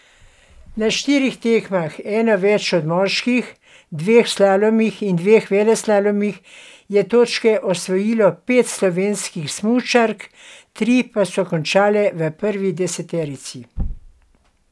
Na štirih tekmah, eno več od moških, dveh slalomih in dveh veleslalomih, je točke osvojilo pet slovenskih smučark, tri pa so končale v prvi deseterici.